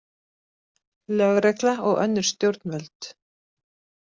Lögregla og önnur stjórnvöld.